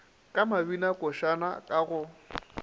ka mabinakošana a ka go